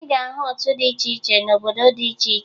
Ị ga-ahụ otu dị iche iche n'obodo dị iche iche